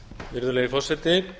virðulegi forseti